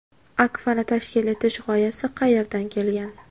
Akfa’ni tashkil etish g‘oyasi qayerdan kelgan?